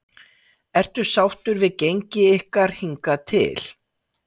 Ertu sáttur við gengi ykkar hingað til?